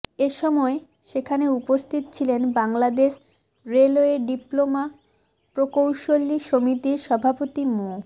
এ সময় সেখানে উপস্থিত ছিলেন বাংলাদেশ রেলওয়ে ডিপ্লোমা প্রকৌশলী সমিতির সভাপতি মো